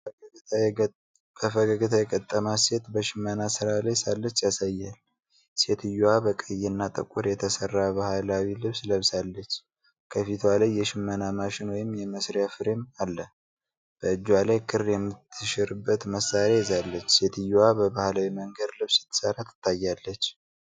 በፈገግታ የገጠማት ሴት በሽመና ሥራ ላይ ሳለች ያሳያል። ሴትየዋ በቀይና ጥቁር የተሠራ ባህላዊ ልብስ ለብሳለች። ከፊቷ ላይ የሽመና ማሽን ወይም የመሥሪያ ፍሬም አለ። በእጇ ላይ ክር የምትሽርበት መሳሪያ ይዛለች። ሴትየዋ በባህላዊ መንገድ ልብስ ስትሠራ ትታያለች።